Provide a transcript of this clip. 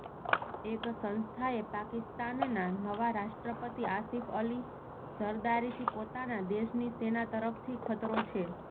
એક સંસ્થાએ પાકિસ્તાનનાં નવા રાષ્ટ્રપતિ આસિફ અલી ઝરદારીથી પોતાના દેશની સેના તરફથી ખતરો છે